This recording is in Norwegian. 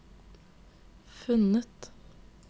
funnet